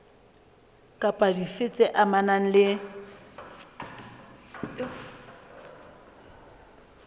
kapa dife tse amanang le